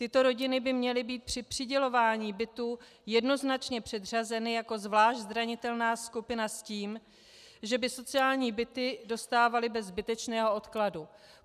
Tyto rodiny by měly být při přidělování bytů jednoznačně předřazeny jako zvlášť zranitelná skupina s tím, že by sociální byty dostávaly bez zbytečného dokladu.